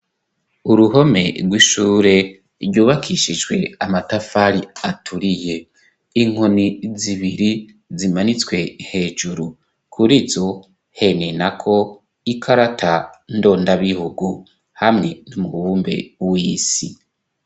Uruhome rw'ishure ryubakishijwe amatafari aturiye, inkoni zibiri zimanitswe hejuru, kurizo henenako ikarata ndondabihugu hamwe n'umubumbe w'isi.